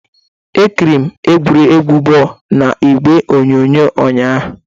Ekịrịrị m egwuregwu bọọlụ n'igwe onyonyo ụnyahụ